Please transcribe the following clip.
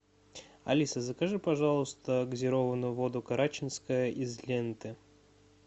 алиса закажи пожалуйста газированную воду карачинская из ленты